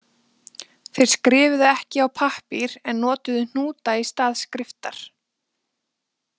Þeir skrifuðu ekki á pappír en notuðu hnúta í stað skriftar.